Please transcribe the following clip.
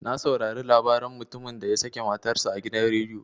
Na saurare labaran mutumin da ya sake matar sa a gidan rediyo.